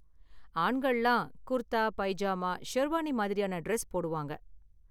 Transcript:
ஆண்கள்லாம் குர்தா, பைஜாமா, ஷெர்வானி மாதிரியான டிரஸ் போடுவாங்க.